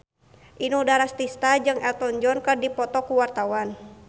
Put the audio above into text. Inul Daratista jeung Elton John keur dipoto ku wartawan